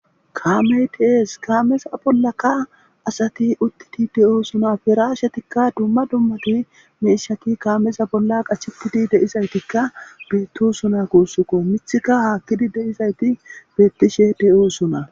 Kaamey tiees kaameza bollaka asati uttiti de'oo suna firaashetikka dumma dummati meeshaki kaameza bolla qachitidi deizaytikka beetto suna kuussukko mithika haakkidi de7izayti beettishe de'o suna.